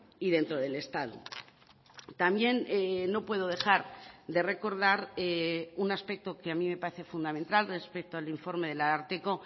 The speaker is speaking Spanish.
y dentro del estado también no puedo dejar de recordar un aspecto que a mí me parece fundamental respecto al informe del ararteko